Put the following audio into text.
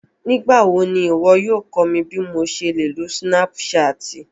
Nigbawo ni iwọ yóò kọ mi bi mo ṣe le lo Sinapṣatì?